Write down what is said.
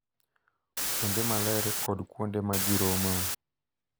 Kuonde maler kod kuonde ma ji romoe